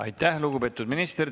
Aitäh, lugupeetud minister!